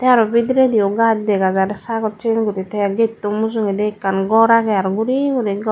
aro bidiredi ow gaj dega jar te getto mujungedi ekkan ghor agey aro guri gori ghor.